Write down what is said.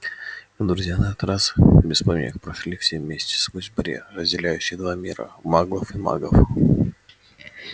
и друзья на этот раз без помех прошли все вместе сквозь барьер разделяющий два мира маглов и магов